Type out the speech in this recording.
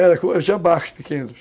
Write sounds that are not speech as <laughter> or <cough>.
<unintelligible> tinha barcos pequenos.